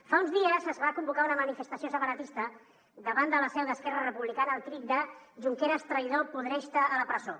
fa uns dies es va convocar una manifestació separatista davant de la seu d’esquerra republicana al crit de junqueras traïdor podreix te a la presó